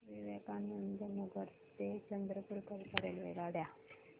विवेकानंद नगर ते चंद्रपूर करीता रेल्वेगाड्या